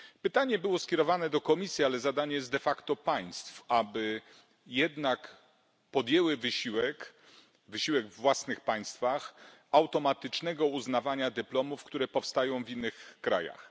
Pytanie było skierowane do Komisji, ale zadanie jest de facto państw, aby jednak podjęły wysiłek, wysiłek we własnych państwach, automatycznego uznawania dyplomów, które powstają w innych krajach.